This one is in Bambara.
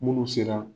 Munnu sera